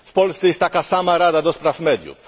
W Polsce jest taka sama rada do spraw mediów.